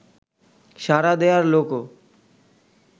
সাড়া দেয়ার লোকও